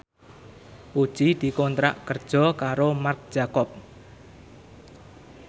Puji dikontrak kerja karo Marc Jacob